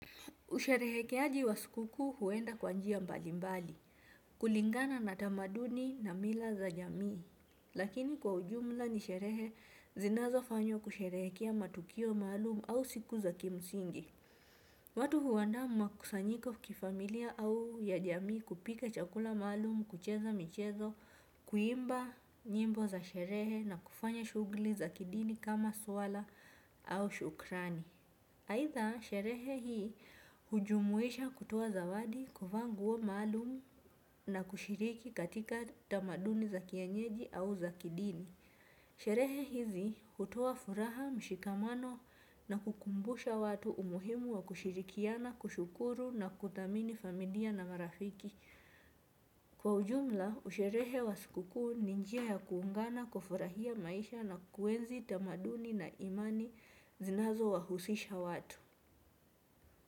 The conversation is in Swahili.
Usherehekeaji wa sikukuu huenda kwa njia mbali mbali, kulingana na tamaduni na mila za jamii. Lakini kwa ujumla ni sherehe zinazo fanywa kusherehekea matukio maalumu au siku za kimsingi. Watu huandaa makusanyiko kifamilia au ya jamii kupika chakula maalumu, kucheza michezo, kuimba nyimbo za sherehe na kufanya shughuli za kidini kama swala au shukrani. Aidha, sherehe hii hujumuisha kutoa zawadi kuvaa nguo maalumu na kushiriki katika tamaduni za kienyeji au za kidini. Sherehe hizi hutoa furaha, mshikamano na kukumbusha watu umuhimu wa kushirikiana, kushukuru na kudhamini familia na marafiki. Kwa ujumla, usherehe wa sikukuu ninjia ya kuungana kufurahia maisha na kuenzi tamaduni na imani zinazo wahusisha watu.